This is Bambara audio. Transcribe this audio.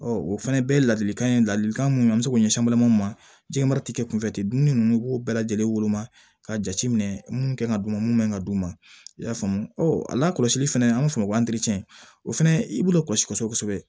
Ɔ o fana bɛɛ ladilikan ye ladilikan minnu bɛ se k'o ɲɛsin balimaw ma jɛgɛmara tɛ kɛ kunfɛ ten dumuni ninnu i b'o bɛɛ lajɛlen woloma ka jateminɛ mun kan ka d'u ma mun kan ka d'u ma i y'a faamu ɔ a lakɔlɔsili fana an b'a fɔ o ma ko o fana i b'olu kɔlɔsi kosɛbɛ kosɛbɛ